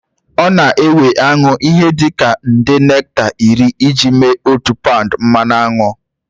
Ọ na-ewe aṅụ ihe dị ka nde nekta iri iji mee otu paụnd mmanụ aṅụ.